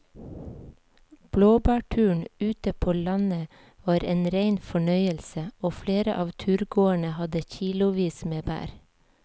Blåbærturen ute på landet var en rein fornøyelse og flere av turgåerene hadde kilosvis med bær.